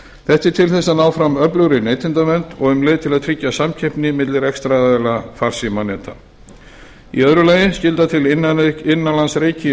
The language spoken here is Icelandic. er til þess að ná fram öflugri neytendavernd og um leið til að tryggja samkeppni milli rekstraraðila farsímaneta aðra skylda til innanlandsreiki í